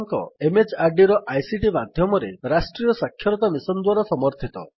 ଏହା ଭାରତ ସରକାରଙ୍କର MHRDର ଆଇସିଟି ମାଧ୍ୟମରେ ରାଷ୍ଟ୍ରୀୟ ସାକ୍ଷରତା ମିଶନ୍ ଦ୍ୱାରା ସମର୍ଥିତ